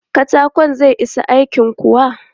Katakon zai isa aikin kuwa?